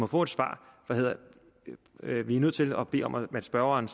får et svar der hedder vi er nødt til at bede om at spørgeren